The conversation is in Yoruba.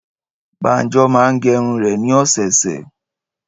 Báńjọ máa ń gẹrun rẹ̀ ní ọ̀sẹ̀ẹ̀sẹ̀.